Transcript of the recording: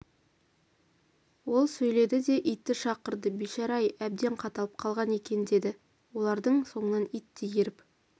ол сөйдеді де итті шақырды бейшара-ай әбден қаталап қалған екен деді олардың соңынан ит те еріп